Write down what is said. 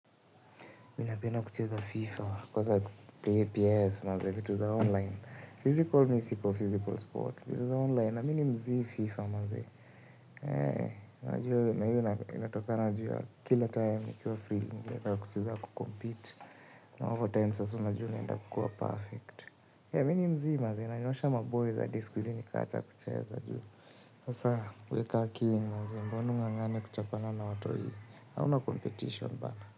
Mimi napenda kucheza 'FIFA' kwanza 'PS' maze vitu za 'online'. 'Physical' mimi siko, 'physical sport'. Kwaza 'online', na mi ni 'mzii FIFA' maze. Heee, na juu na hio inatokana na kila time nikiwa free. Kwaza kucheza 'kucompete'. Na overtime sasa unajua unaenda kukua perfect. Mi ni mzii maze, nanyoosha maboyz hadi siku hizi nikawacha kucheza. Sasa wewe ka king maze mbona ung'ang'ane kuchapana na watoi? Hauna competition bana.